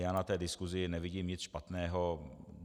Já na té diskusi nevidím nic špatného.